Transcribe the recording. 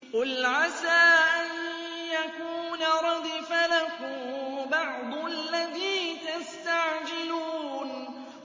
قُلْ عَسَىٰ أَن يَكُونَ رَدِفَ لَكُم بَعْضُ الَّذِي تَسْتَعْجِلُونَ